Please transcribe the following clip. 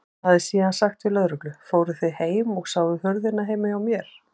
Hann hefði síðan sagt við lögreglu: Fóruð þið heim og sáuð hurðina heima hjá mér?